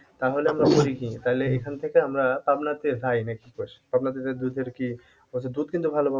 তাহলে আমরা করি কি তাহলে এখান থেকে আমরা পাবনাতে যাই না কি কস? পাবনাতে যেয়ে দুধের কি দুধ কিন্তু ভাল,